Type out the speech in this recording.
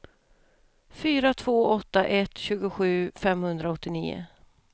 fyra två åtta ett tjugosju femhundraåttionio